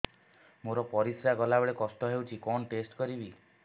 ମୋର ପରିସ୍ରା ଗଲାବେଳେ କଷ୍ଟ ହଉଚି କଣ ଟେଷ୍ଟ କରିବି